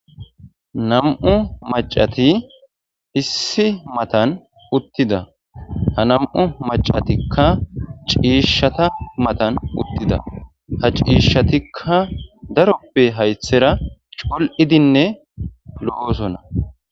Nam'u macati issi matan uttida ha nam'u macatikka ciishshata matan uttida ha ciishshatikka daroppe haythera cul'idinne lo'osona